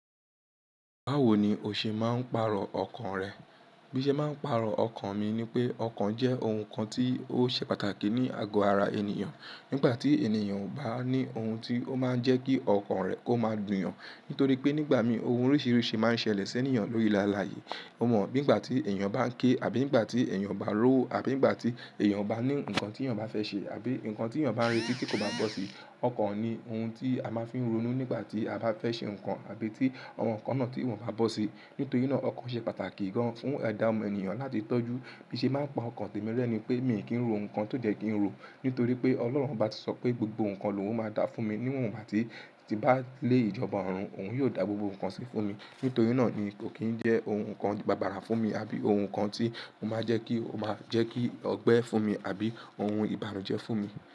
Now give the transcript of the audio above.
Báwo ni o ṣe máa ń pàrọ̀ ọkàn rẹ? Bí ṣe máa ń pàrọ̀ ọkàn mi ni pé ọkàn jẹ́ ohun kan tí ó ṣe pàtàkì ní àgọ ara ènìyàn. Nígbà tí ènìyàn ò bá ní ohun tí ó máa ń jẹ́ kí ọkàn rẹ̀ kó máa dùn yàn. Nítorí pé nígbà mìí ohun oríṣiríṣi máa ń ṣẹlẹ̀ sí ènìyàn lórí làálàá yìí. Bí ìgbà tí ènìyàn bá ń ké àbí ìgbà tí ènìyàn o bá ri owo àbí ìgbà tí ènìyàn o bá rí ǹkan tí ènìyàn bá fẹ́ ṣe àbí ǹkan tí ènìyàn bá ń retí tí kò bá bọ́ sí, ọkàn ni ohun tí a máa ń fi ń ronú nígbà tí a bá fẹ́ ṣe ǹkan àbí tí àwọn ǹkan náà tí wọ́n bá bọ́ sí. Nítorí náà ọkàn ṣe pàtàkì gan fún ẹ̀dá ọmọ ènìyàn láti tọ́jú. Bí ṣe máa ń pa ọkàn tèmi rẹ́ ni pé mi kì n ro ǹkan ti ko yẹ kí n rò. Nítorí pé Ọlọ́run bá ti sọ pé gbogbo ohun kan lòun máa dá fún mi. Ní wọ́ ìgbà tímbá lé ìjọba òrun, òun yóò dá gbogbo ohun kan sí fún mi. Nítorí náà ni kò kín jẹ́ ohun kan bàbàrà fún mi àbí ohun kan tí ó máa jẹ́ kí ó máa jẹ́ kí ó gbẹ fún mi àbí ohun ìbànújẹ́ fún mi.